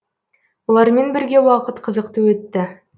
олармен бірге уақыт қызықты өтті